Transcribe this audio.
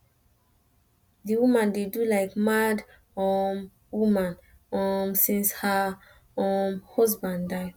di woman dey do like mad um woman um since her um husband die